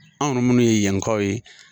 Anw minnu ye yankaw ye